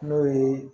N'o ye